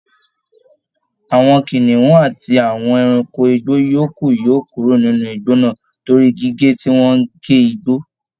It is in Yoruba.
Àwọn kìnìún àti àwọn ẹranko igbó yòókù yóò kúrò nínú igbó náà torí gígé tí wọn ń gé igbó